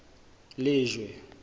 lejwe